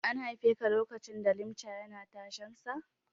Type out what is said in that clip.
An haifeka lokacin da Limca yana tashensa?